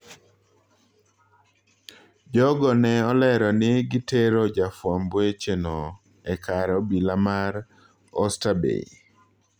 Jogo ne olero ni gitero jafwamb weche no ekar obila mar Oysterbay.